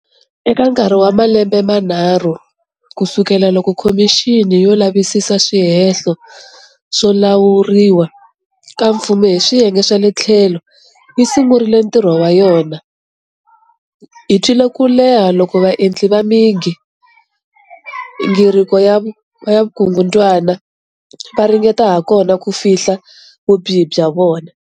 Eka nkarhi wa malembe manharhu ku sukela loko Khomixini yo Lavisisa Swihehlo swo Lawuriwa ka Mfumu hi Swiyenge swa le tlhelo yi sungurile ntirho wa yona, hi twile ku leha loku vaendli va migingiriko ya vukungundwana va ringete hakona ku fihla vubihi bya vona.